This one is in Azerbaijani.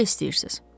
Necə istəyirsiz?